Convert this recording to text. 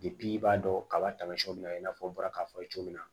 i b'a dɔn kaba tamasiɲɛw bila i n'a fɔ n bɔra k'a fɔ cogo min na